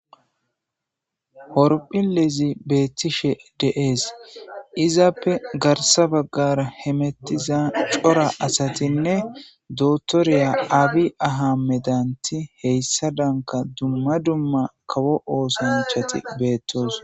Horphilezi beettishe de7ees izappe garssa baggara hemettiza cora asatinne dotoriya abi ahamedanti heyssadanka dumma dumma kawo oosanchati beettoosoa.